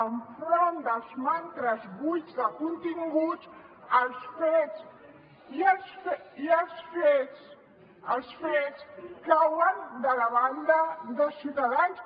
enfront dels mantres buits de continguts els fets i els fets cauen de la banda de ciutadans